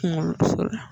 Kunkoloso la